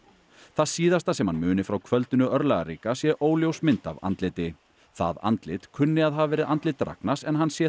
það síðasta sem hann muni frá kvöldinu örlagaríka sé óljós mynd af andliti það andlit kunni að hafa verið andlit Ragnars en hann sé